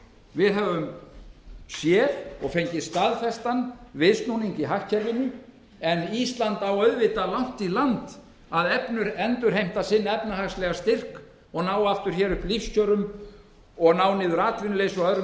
við höfum séð og fengið staðfestan viðsnúning í hagkerfinu en ísland á auðvitað langt í land með að endurheimta sinn efnahagslega styrk ná hér aftur upp lífskjörum og ná niður atvinnuleysi og öðrum